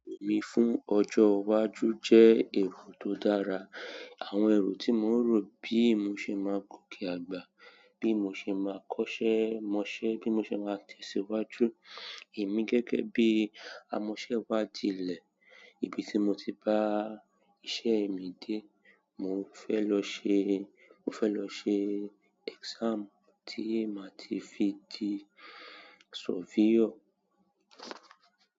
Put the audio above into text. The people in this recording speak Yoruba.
Èrò mí fún ọjọ́ iwájú jẹ́ èrò tó dára. Àwọn èrò tí mò ń rò bí mo ṣe máa gòkè àgbà, bí mo ṣe máa kọ́ṣẹ́ mọṣẹ́, bí mo ṣe máa tẹ̀síwájú. Èmi gẹ́gẹ́ bí amọṣẹ́wádìí ilẹ̀, ibi tí mo ti bá iṣẹ́ mi dé, mo fẹ́ lọ ṣe, mo fẹ́ lọ ṣe exam tí a máa ti fi di surveyor.